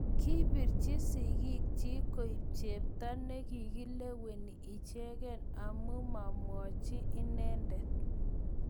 kibirchi sigik chich kuib chepto ne kileweni icheke aku mamwochi inendet